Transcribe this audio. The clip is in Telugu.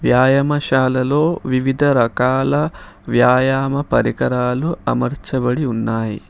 వ్యాయామశాలలో వివిధ రకాల వ్యాయామ పరికరాలు అమర్చబడి ఉన్నాయి.